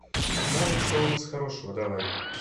навык что у нас хорошего давай